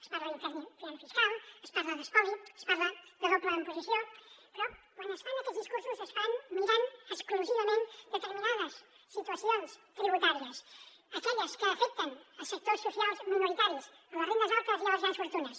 es parla d’infern fiscal es parla d’espoli es parla de doble imposició però quan es fan aquests discursos es fan mirant exclusivament determinades situacions tributàries aquelles que afecten sectors socials minoritaris les rendes altes i les grans fortunes